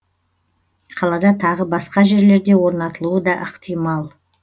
қалада тағы басқа жерлерде орнатылуы да ықтимал